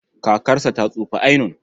Kakarsa ta tsufa ainun.